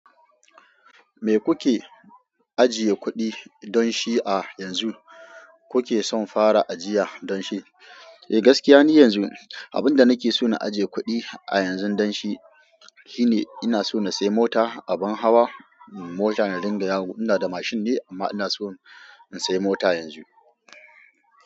Me kuke ajiye kuɗi don shi a yanzu? Ku ke son fara ajiya don shi? Eh, gaskiya ni yanzu abun da nake so na aje kuɗi a yanzun don shi shine ina so na sai mota, abin hawa, mota na dinga yawo. Ina da mashin ne amma ina so in sai mota yanzu.